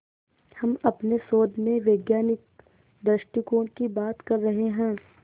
हम अपने शोध में वैज्ञानिक दृष्टिकोण की बात कर रहे हैं